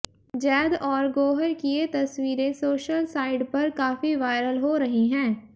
जैद और गौहर की ये तस्वीरें सोशल साइठ पर काफी वायरल हो रही हैं